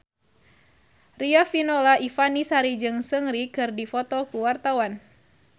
Riafinola Ifani Sari jeung Seungri keur dipoto ku wartawan